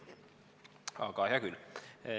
Aga hea küll.